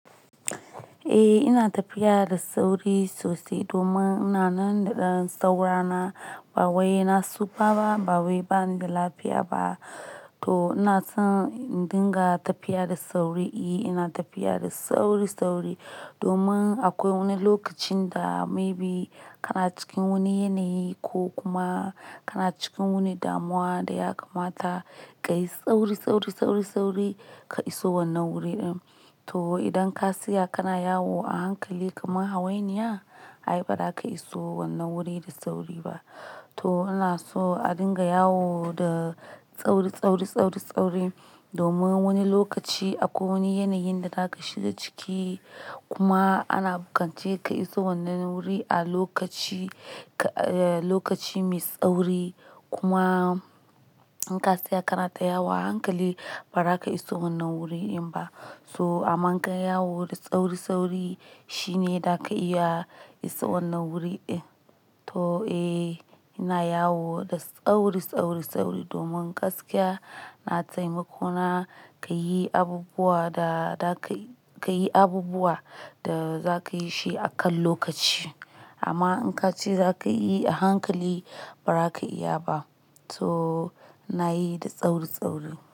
Eh, ina tafiya da sauri sosai domin ina nan da ɗan saura na. Ba wai na tsufa ba, ba wai bani da lafiya ba. To ina son in dinga tafiya da sauri. Eh, ina tafiya da sauri-sauri domin akwai wani lokacin da maybe kana cikin wani yanayi ko kuma kana cikin wani damuwa da ya kamata ka yi sauri, sauri, sauri, sauri ka iso wannan wuri din. To idan ka siya kana yawo a hankali kamar hawainiya, ai ba za ka iso wannan wuri da sauri ba. To ana so a dinga yawo da sauri, sauri, sauri, sauri domin wani lokaci akwai wani yanayin da za ka shiga ciki. Kuma ana buƙace ka iso wannan wuri a lokaci, lokaci mai sauri. Kuma in ka siya kana ta yawo a hankali, ba za ka iso wannan wuri din ba. To amma ka yawo da sauri-sauri shine za ka iya isa wannan wuri din. To eh, ina yawo da sauri, sauri, sauri domin gaskiya na taimako na ka yi abubuwa da za ka, ka yi abubuwa da za ka yi shi akan lokaci. Amma in ka ce za ka yi a hankali, ba za ka iya ba. To na yi da sauri-sauri.